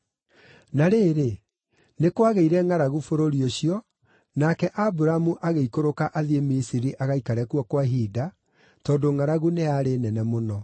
Na rĩrĩ, nĩ kwagĩire ngʼaragu bũrũri ũcio, nake Aburamu agĩikũrũka athiĩ Misiri agaikare kuo kwa ihinda, tondũ ngʼaragu nĩ yarĩ nene mũno.